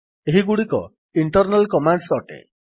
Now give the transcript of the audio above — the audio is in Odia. ଏହିଗୁଡ଼ିକ ଇଣ୍ଟର୍ନାଲ୍ କମାଣ୍ଡ୍ସ ଅଟେ